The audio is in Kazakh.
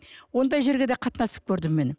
ондай жерге де қатынасып көрдім мен